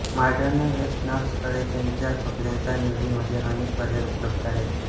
modern वेस्टर्नर्सकडे त्यांच्या कपड्यांच्या निवडीमध्ये अनेक पर्याय उपलब्ध आहेत